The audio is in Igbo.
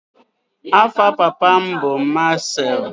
Afa papa m bu Marcel.